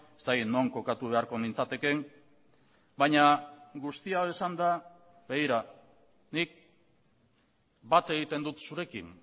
ez dakit non kokatu beharko nintzatekeen baina guzti hau esanda begira nik bat egiten dut zurekin